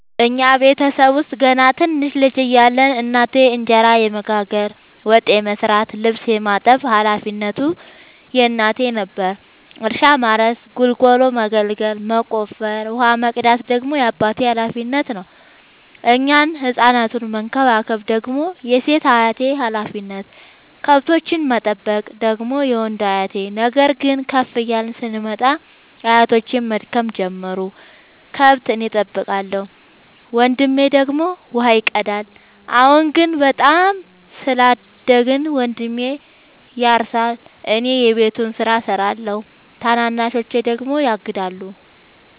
እኛ ቤተሰብ ውስጥ ገና ትንንሽ ልጅ እያለን እናቴ እንጀራ የመጋገር፤ ወጥ የመስራት ልብስ የማጠብ ሀላፊነቱ የእናቴ ነበረ። እርሻ ማረስ ጉልጎሎ መጎልጎል መቆፈር፣ ውሃ መቅዳት ደግሞ የአባቴ ሀላፊነት፤ እኛን ህፃናቱን መከባከብ ደግሞ የሴት አያቴ ሀላፊነት፣ ከብቶቹን መጠበቅ ደግሞ የወንዱ አያቴ። ነገር ግን ከፍ እያልን ስንመጣ አያቶቼም መድከም ጀመሩ ከብት እኔ ጠብቃለሁ። ወንድሜ ደግሞ ውሃ ይቀዳል። አሁን ደግሞ በጣም ስላደግን መንድሜ ያርሳ እኔ የቤቱን ስራ እሰራለሁ ታናናሾቼ ደግሞ ያግዳሉ።